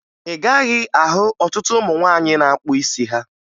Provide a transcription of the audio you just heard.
Ị gaghị ahụ ọtụtụ ụmụ nwaanyị na-akpụ isi ha